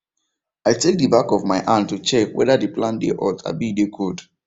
i take the back of my hand to check whether the plant dey hot abi e dey cold